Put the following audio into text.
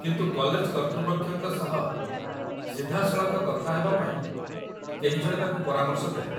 କିନ୍ତୁ କଲେଜ କର୍ତ୍ତୃପକ୍ଷଙ୍କ ସହ ସିଧାସଳଖ କଥା ହେବାପାଇଁ କେହିଜଣେ ତାକୁ ପରାମର୍ଶ ଦେଲେ